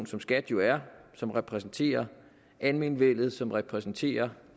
som skat jo er som repræsenterer almenvellet som repræsenterer